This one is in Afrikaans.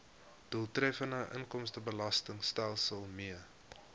doeltreffende inkomstebelastingstelsel mee